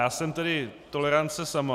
Já jsem tedy tolerance sama.